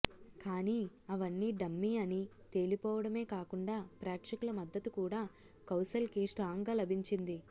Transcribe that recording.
కానీ అవన్నీ డమ్మీ అని తెలిపోవడమే కాకుండా ప్రేక్షకుల మద్దతు కూడా కౌశల్ కి స్ట్రాంగ్ గా లభించింది